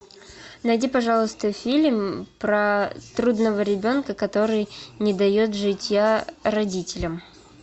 найди пожалуйста фильм про трудного ребенка который не дает житья родителям